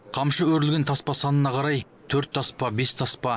қамшы өрілген таспа санына қарай төрт таспа бес таспа